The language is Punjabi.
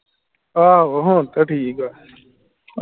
ਆਹੋ ਹੁਣ ਤੇ ਠੀਕ ਆ